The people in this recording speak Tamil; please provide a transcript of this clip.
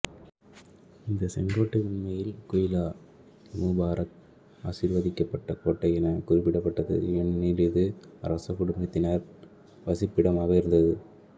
இந்த செங்கோட்டை உண்மையில் குயிலாஐமுபாரக் ஆசிர்வதிக்கப்பட்ட கோட்டை என குறிப்பிடப்பட்டது ஏனெனில் இது அரச குடும்பத்தினர் வசிப்பிடமாக இருந்தது